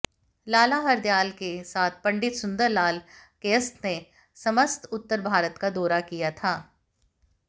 लाला हरदयाल के साथ पं॰ सुंदरलाल कायस्थ ने समस्त उत्तर भारत का दौरा किया था